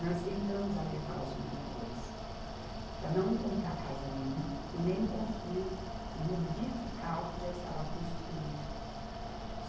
Nós tentamos alertar os moradores para não comprar a casa ali e nem construir, ou modificar o que já estava construído.